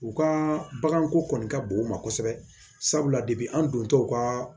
U ka baganko kɔni ka bon u ma kosɛbɛ sabula an don tɛ u ka